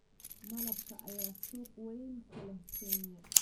Malabka ayaa suuq weyn ku leh Kenya.